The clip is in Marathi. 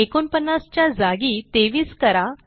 49 च्या जागी 23 करा